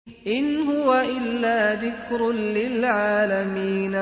إِنْ هُوَ إِلَّا ذِكْرٌ لِّلْعَالَمِينَ